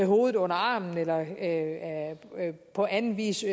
hovedet under armen eller på anden vis